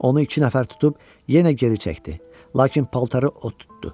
Onu iki nəfər tutub yenə geri çəkdi, lakin paltarı od tutdu.